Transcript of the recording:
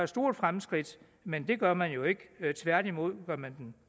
stort fremskridt men det gør man jo ikke tværtimod gør man